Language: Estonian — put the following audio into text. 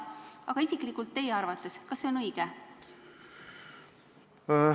Aga kas see isiklikult teie arvates on õige?